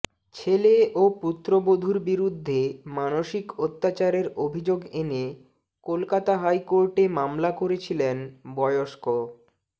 ছেলে ও পুত্রবধূর বিরুদ্ধে মানসিক অত্যাচারের অভিযোগ এনে কলকাতা হাইকোর্টে মামলা করেছিলেন বয়স্ক